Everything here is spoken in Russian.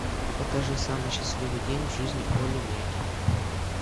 покажи самый счастливый день в жизни олли мяки